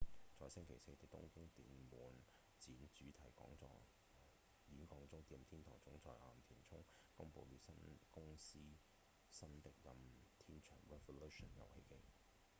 在星期四的東京電玩展主題演講中任天堂總裁岩田聰公布了公司新的任天堂 revolution 遊戲機